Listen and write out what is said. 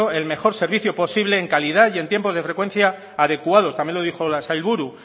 el mejor servicio posible en calidad y en tiempos de frecuencia adecuados también lo dijo la sailburu